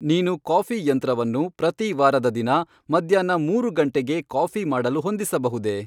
ನೀನು ಕಾಫಿ ಯಂತ್ರವನ್ನು ಪ್ರತಿ ವಾರದ ದಿನ ಮಧ್ಯಾಹ್ನ ಮೂರು ಗಂಟೆಗೆ ಕಾಫಿ ಮಾಡಲು ಹೊಂದಿಸಬಹುದೇ